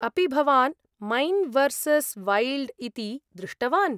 अपि भवान् man versus wild इति दृष्टवान्?